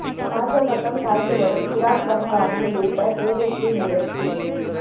பாஜ பக்கம் சாய்ந்து வரும் சிராக் பஸ்வானை இழுக்க தேஜஸ்வி முயற்சி